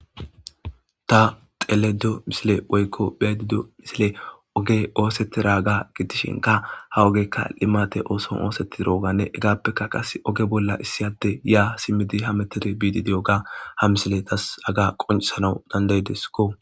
Ta xeledo misile oykko bheedido misile oge oosetti raga gidishinka ha ogekka limate ooson oosettira oganne egappekka qas oge bolla issiyade ya simmidi ha metid biididi oga ha misile tas aga qoncesanau dandayideskko.